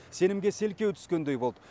сенімге селкеу түскендей болды